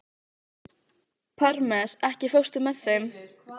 Parmes, ekki fórstu með þeim?